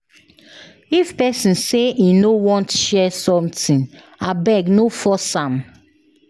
If pesin say e no want share something, abeg no force am.